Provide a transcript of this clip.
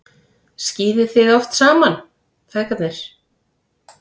Skíðið þið oft saman, feðgarnir?